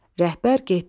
Rəhbər getdi.